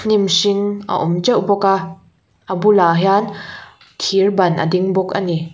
hnim hring a awm teuh bawka a bulah hian thir ban a ding bawk ani.